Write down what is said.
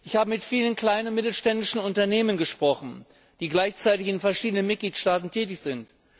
Ich habe mit vielen kleinen und mittelständischen Unternehmen gesprochen, die gleichzeitig in verschiedenen Mitgliedstaaten tätig sind.